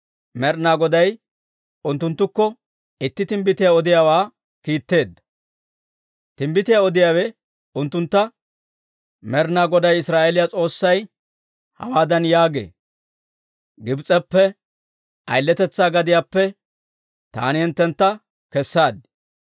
Med'inaa Goday unttunttukko itti timbbitiyaa odiyaawaa kiitteedda. Timbbitiyaa odiyaawe unttuntta, «Med'inaa Goday Israa'eeliyaa S'oossay hawaadan yaagee; ‹Gibs'eppe, ayiletetsaa gadiyaappe taani hinttentta kessaad.